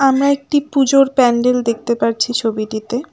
আমরা একটি পুজোর প্যান্ডেল দেখতে পারছি ছবিটিতে।